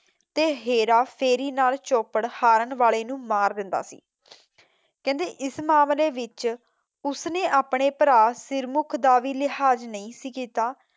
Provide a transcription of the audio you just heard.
ਤੇ ਹੇਰਾ ਫੇਰੀ ਨਾਲ ਚੋਪੜ ਹਾਰਨ ਵਾਲੇ ਨੂੰ ਮਾਰ ਦਿੰਦਾ ਸੀ ਕਹਿੰਦੇ ਇਸ ਮਾਮਲੇ ਵਿੱਚ ਉਸਨੇ ਆਪਣੇ ਪਰਾ ਸਿਰਮੁਖ ਦਾ ਵੀ ਲਿਹਾਜ਼ ਨਹੀਂ ਸੀ ਕੀਤਾ